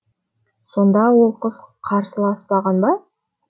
сонда ол қыз қарсыласпаған ба